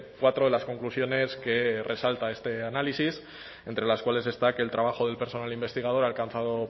cuatro de las conclusiones que resalta este análisis entre las cuales está que el trabajo del personal investigador ha alcanzado